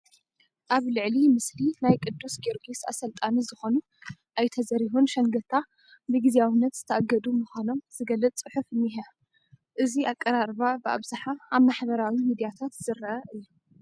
ኣብ ልዕሊ ምስሊ ናይ ቅዱስ ጊዮርግስ ኣሰልጣኒ ዝኾኑ ኣይተ ዘሪሁን ሸንገታ ብግዚያውነት ዝተኣገዱ ምዃኖም ዝገልፅ ፅሑፍ እኒሀ፡፡ እዚ ኣቀራርባ ብኣብዝሓ ኣብ ማሕበራዊ ሚድያታት ዝርአ እዩ፡፡